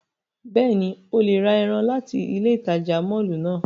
Bẹ́ẹ̀ni, o le ra ẹran lati ile itaja mọllu náa.